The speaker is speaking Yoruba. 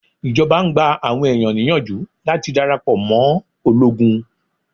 Ìjọba ń gba àwọn ẹ̀yàn níyànjú láti darapọ̀ mọ́ ológun.